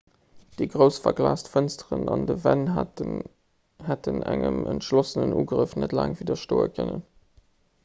déi grouss verglaast fënsteren an dënn wänn hätten engem entschlossenen ugrëff net laang widderstoe kënnen